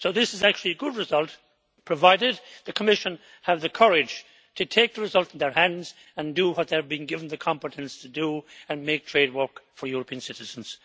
So this is actually a good result, provided the Commission has the courage to take the result in their hands and do what they are being given the competence to do and make trade work for European citizens.